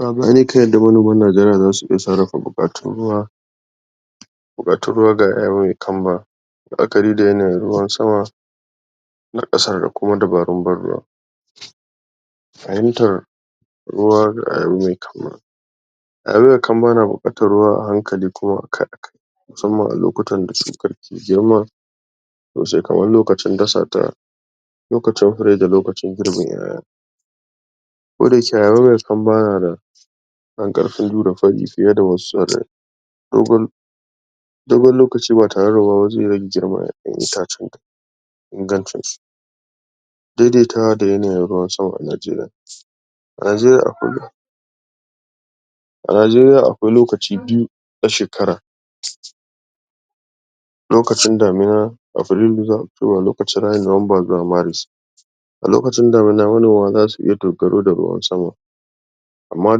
yanda manoman najeriya zasu iya sarrafa buƙatun ruwa buƙatun ruwa ga ƴa mai kamba la'akari da yanayin ruwan sama na ƙasa da kuma dabarun ban ruwa. fahimtar ruwa kamba na buƙatar ruwa a hankali kuma akai-akai musamman a lokutan da shukar ke girma da shekarun lokacin dasata lokacin rage lokacin girbin ƴaƴa. ko dayake kamba nada ƙarfin jure fari fiye da wasu dogon lokaci ba tareda zai rage girman itacen ta ingancin su daidaitawa da yanayin ruwan sama a najeriya a najeriya akwai a najeriya akwai lokaci biyu a shekara lokacin damana a lokacin damana manoma zasu iya dogaro da ruwan sama amma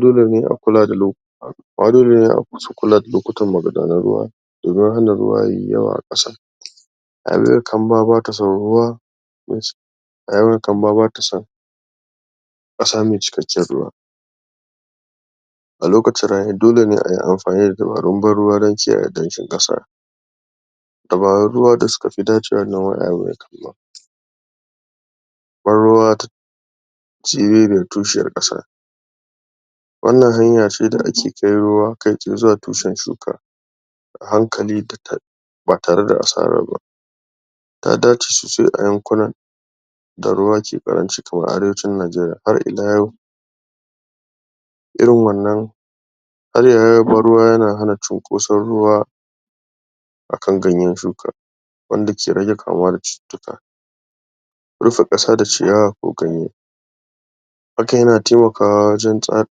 dolene a kula da lo amma dolene a kula da lokutan magudanan ruwa domin hana ruwa yayi yawa a ƙasa rayuwar kamba bata son ruwa rayuwar kamba batason a samun cikakken ruwa a lokacin rani dolene ayi amfani da dabarun ban ruwa don kiyaye danshin ƙasa dabarun ruwa da sukafi dacewa banruwa shi zai tushe a ƙasa wannan hanyace da ake kai ruwa kaitsaye zuwa tushen shuka a hankali ba tareda asara ba. ta dace sosai a yankunan da ruwa ke ƙaranci kamar arewacin najeriya. Har ila yau irin wannan ban ruwa yana hana cinkoson ruwa akan ganyen shuka wanda ke rage kamuwa da cututtuka rufe ƙasa da ciyawa ko ganye haka yana taimakwa wajen tsa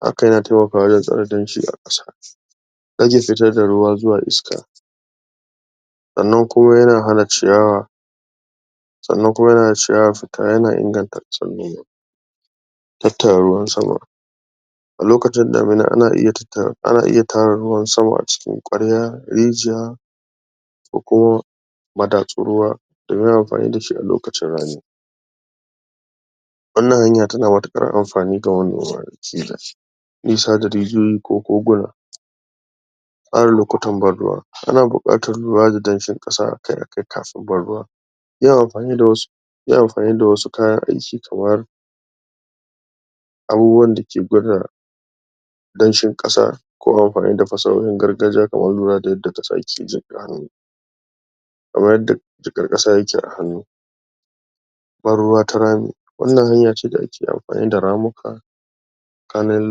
haka yana taimakawa wajen tsare damshi a ƙasa rage fitar da ruwa zuwa iska sannan kuma yana hana ciyawa sannan kuma yana hana ciyawa fita yan inganta tattara ruwan sama a lokacin damana ana iya tattara ana iya tara ruwan sama a cikin ƙwarya, rijiya ko kuma madatsun ruwa domin amfani dashi a lokacin rani. wannan hanya tana matuƙar amfani ga nisa da rijiyoyi ko koguna tsara lokutan ban ruwa ana buƙatar ruwa da danshin ƙasa akai-akai kafin ban ruwa yin amfani da wasu yin amfani da wasu kayan aiki kamar abubuwan dake gwada danshin ƙasa ko amfani da fasahan gargajiya kaman ruwa da yanda ƙasa ke yadda jiƙar ƙasa yake a hannu ban ruwa ta rami wannan hanyace da ake amfani da ramuka tsakanin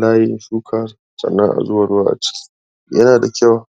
layin shuka sannan a zuba ruwa a ciki yana da kyau